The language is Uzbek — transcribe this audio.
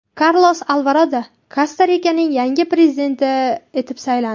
Karlos Alvarado Kosta-Rikaning yangi prezidenti etib saylandi.